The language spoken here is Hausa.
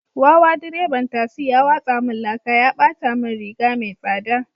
Wawa direban tasi ya watsa min laka ya bata min riga mai tsada